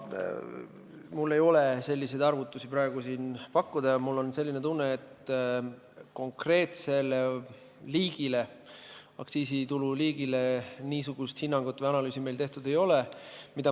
Mul ei ole siin praegu selliseid arvutusi pakkuda ja mul on tunne, et konkreetse aktsiisitulu liigi kohta niisugust hinnangut või analüüsi meil tehtud ei ole.